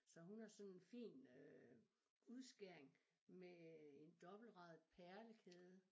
Så hun har sådan fin øh udskæring med en dobbeltradet perlekæde